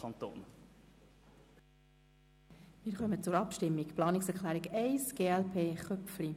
Wir kommen zur Abstimmung über die Planungserklärung von Grossrat Köpfli.